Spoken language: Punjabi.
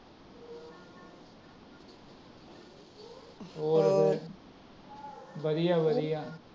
ਵਧੀਆ ਵਧੀਆ ।